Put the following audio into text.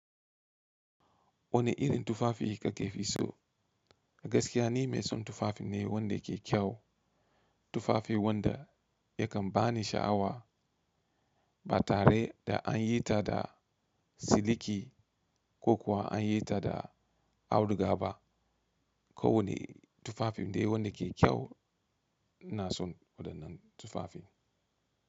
Wane irin tufafi kake fi so? Gaskiya ni mai son tufafi ne wanda ke kyau. Tufafi wanda yakan bani sha'awa ba tare da an yi ta da siliki ko kuwa an yi ta da auduga ba. Ko wane tufafi dai wanda ke kyau una son waɗannan tufafin.